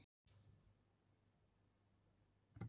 eins og nafnið völuspá bendir til er spáin lögð í munn völvu